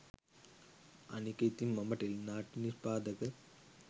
අනික ඉතින් මම ටෙලි නාට්‍ය නිෂ්පාදක